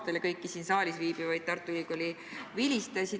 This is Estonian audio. Õnnitlen ka kõiki siin saalis viibivaid Tartu Ülikooli vilistlasi.